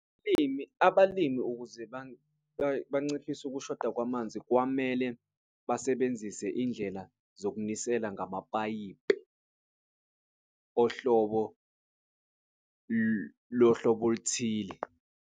Umlimi abalimi ukuze banciphise ukushoda kwamanzi kwamele basebenzise indlela zokunisela ngamapayipi ohlobo lohlobo oluthile.